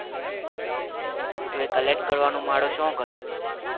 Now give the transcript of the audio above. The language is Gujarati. તુએ collect કરવાનું માળું શુવે કતો